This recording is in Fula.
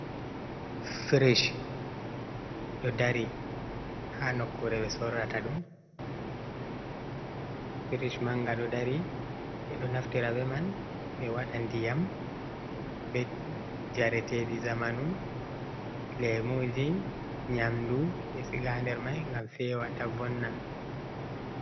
frish ɗo dari ha nokkure ɓe sorrata ɗum, frish manga ɗo dari, ɓe ɗo naftira be man ɓe waɗa ndiyam, be jareteɗi zamanu, lemuji, nyamdu be siga ha nder mai gam fewa ta vonna.